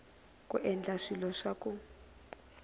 ku endla swilo swa ku